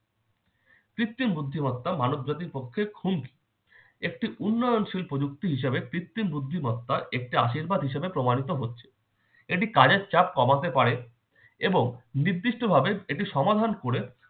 কৃত্তিম বুদ্ধিমত্তা মানব জাতির পক্ষে খুনি। একটি উন্নয়নশীল প্রযুক্তি হিসেবে কৃত্রিম বুদ্ধিমত্তা একটি আশীর্বাদ হিসেবে প্রমাণিত হচ্ছে। এটি কাজের চাপ কমাতে পারে এবং নির্দিষ্টভাবে এটি সমাধান করে-